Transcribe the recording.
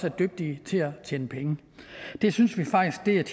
er dygtige til at tjene penge det synes vi faktisk